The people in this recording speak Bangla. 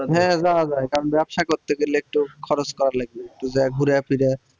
হ্যাঁ যাওয়া যায় কারণ ব্যবসা করতে গেলে একটু খরচ করা লাগবে একটু যায়ে ঘুরে ফিরে